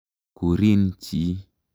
Kurin chi.